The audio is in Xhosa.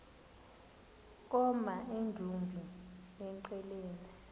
koma emdumbi engqeleni